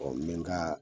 n bɛ n ka